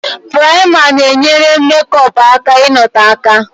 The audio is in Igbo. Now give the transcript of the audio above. Pụraima na-enyere mekọpu aka ị nọtoo aka